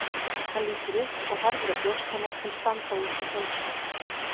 Hann lítur upp og horfir á brjóst hennar sem standa út í peysuna.